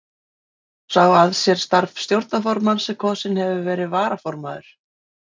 Tekur þá sá að sér starf stjórnarformanns sem kosinn hefur verið varaformaður.